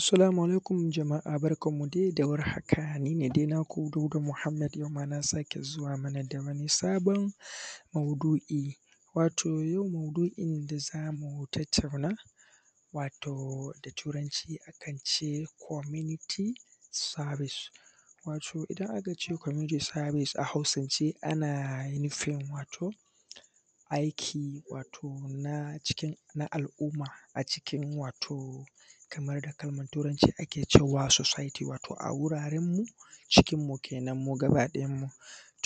Assalamu alaikum jama’a barkan mu dai da warhaka nine dai naku Dauda Muhammad a yau na sake zuwa mana da wani sabon wato yau maudu’in da zamu tattauna wato da turanci akance kwanimiti sabis, wato idan akace kwaminiti sabis a hausance ana nufin wato aikin wato an cikin na al’umma a cikin wato a kaman a kalman turanci ake cewa wato sositi wato a wuraren mu cikin mu kenan mu gaba ɗayan mu.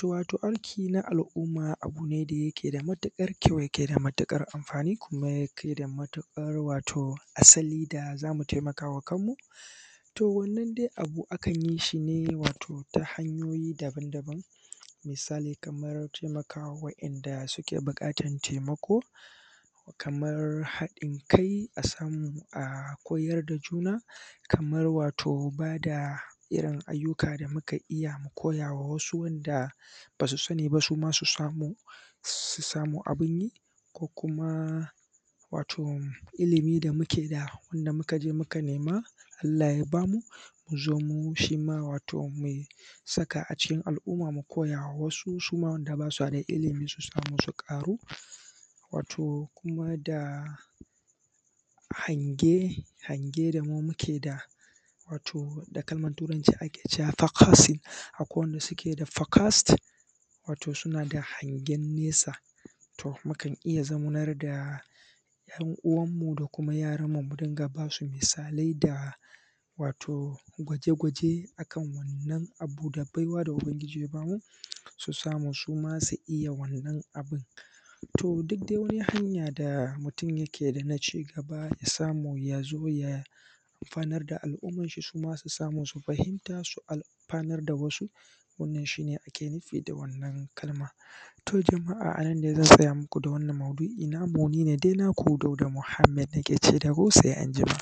Wato aiki na al’umma a bune da yake da matuƙar kyau kuma yake da mutuƙar amfani, yake da matuƙar asali da zamu taimakama kanmu. To wannan dai akan yinshi ne ta hanyoyi daban daban misali kamar taimakawa wa ‘yan’ da suke buƙatan taimako kamar haɗin kai asamu a koyar da juna kamar wato bada irrin ayyuka da muka iyya mi koya ma wasu wadda basu iyya ba suma su samu abunyi ko kuma wato illimi da muke da wadda mukaje muka nema, Allah ya bamu muzo mu shima wato saka a cikin al’umma suma wanda basada ilimin sai suzo su ƙaru. Wato kuma da hange hange da muke da wato da kalmanturanci ake cewa fokosin, akwai wanda suke da fokos suna da hagen nesa to mukan iyya zaunar da ‘yan uwanmu da kuma yaran mu muriƙa basu misalai da wato gwaje gwaje akan waɗannan da baiwa da ubangyji ya bamu, su samu suma iyya wannan abun. To duk dai wani hanya da mutun yakeda na cigaba ya samu yazo ya amfanar da al’ummanshi suma su samu suzo a amfanar wannan shine ake nufi da wannan kalma. To jama’a ananne zan tsaya muku da wannan maudu’ina nine dai naku Dauda Muhammad na kece muku sai anjima.